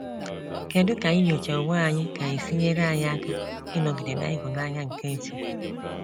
Kedụ ka inyocha onwe anyị ga esi nyere anyị aka ịnọgide na ịhụnanya nke chukwu?